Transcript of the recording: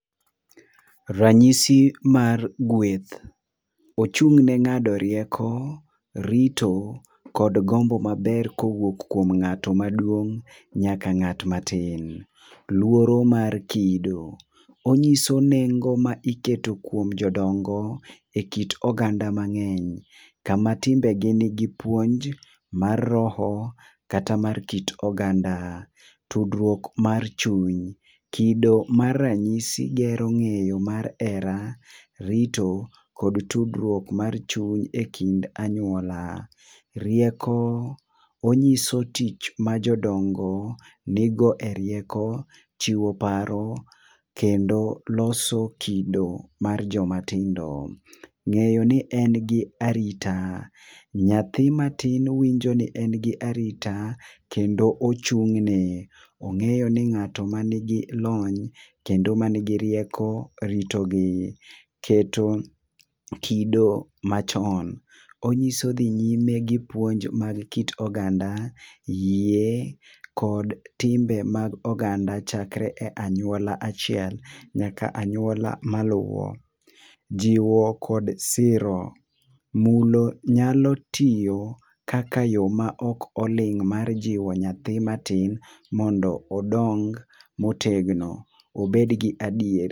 Rang'isi mar gweth, ochung' ne ngado rieko, rito kod gombo ma ber ka owuok kuom ng'at ma duong nyaka ng'at ma tin. Luoro mar kido, ong'iso nengo mi iketo kuom jodongo e kit oganda ma ng'eny kama timbe gi ni gi puonj mar roho kata mar kit oganda. Tudruok mar chuny, kido mar rang'isi, gero ng'eyo mar hera, rito kod tudruok mar chuny e kind anyuola. Riwko ong'iso tich ma jo dongo ni go e rieko chiwo paro kendo loso kido mar jo ma tindo .Ng'eyo ni en gi arita, nyathi matin winjo ni en ga arita kendo ochung ne. Ong'eyo ni ng'ato ma ni gi lony kendo ma ni gi rieko rito gi. To kido machon, ong'iso dhi nyime gi pouonj mar kit oganda, yie kod timbe mag oganda chakre e anyuola achiel nyaka e aluora ma luwo. Jiwo kod siro, mulo nyalo tiyo kaka yo ma ok oling mar jiwo nyathi matin mondo odong ma otegno, obed gi adier